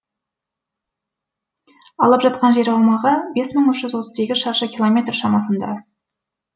алып жатқан жер аумағы бес мың үш жүз отыз сегіз шаршы километр шамасында